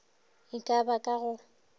e ka ba ka go